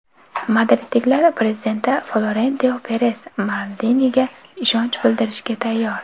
Madridliklar prezidenti Florentino Peres Maldiniga ishonch bildirishga tayyor.